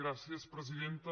gràcies presidenta